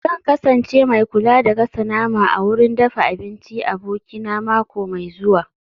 Zan kasance mai kula da gasa nama a wurin dafa abinci abokina mako mai zuwa